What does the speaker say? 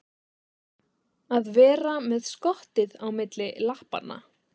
Að vera með skottið á milli lappanna